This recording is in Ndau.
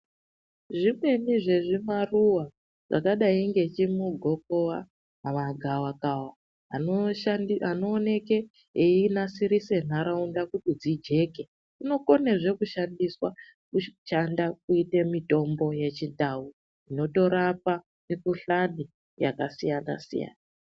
Zvimweni zvezvimaruwa zvakadai ngechimugokowa kana gavakava anooneke einasirise nharaunda kuti dzijeke inokonezve kushandiswa kuite mitombo yechindau inotorapa mikhuhlani yakasiyanasiyana.